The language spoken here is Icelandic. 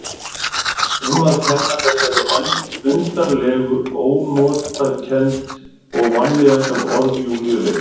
Um að kenna þessari undarlegu ónotakennd og vanlíðan sem orð Júlíu vekja.